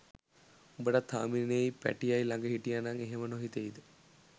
උඹටත් හාමිනෙයි පැටියයි ලඟ හිටියනං එහෙම නොහිතෙයිද?